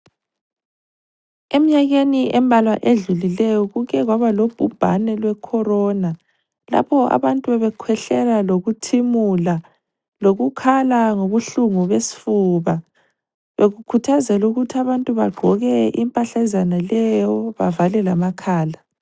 Emnyakeni embalwa edlulileyo kukekwaba lobhubhane lwe corona lapho abantu bebekhwehlela lokuthimula lokukhala ngobuhlungu besifuba, bekukhathazelwa ukuthi abantu bagqoke impahlazana leyo bavale lamakhala